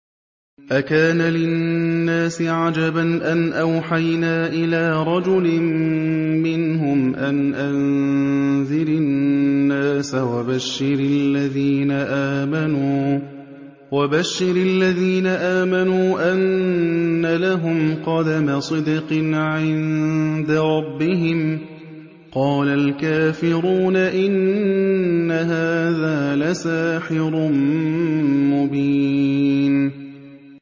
أَكَانَ لِلنَّاسِ عَجَبًا أَنْ أَوْحَيْنَا إِلَىٰ رَجُلٍ مِّنْهُمْ أَنْ أَنذِرِ النَّاسَ وَبَشِّرِ الَّذِينَ آمَنُوا أَنَّ لَهُمْ قَدَمَ صِدْقٍ عِندَ رَبِّهِمْ ۗ قَالَ الْكَافِرُونَ إِنَّ هَٰذَا لَسَاحِرٌ مُّبِينٌ